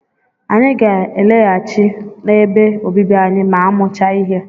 Anyị ga-alaghachi n'ebe obibi anyị ma a mụchaa ihe.